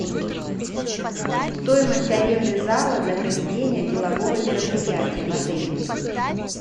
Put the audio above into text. стоимость аренды зала для проведения делового мероприятия в отеле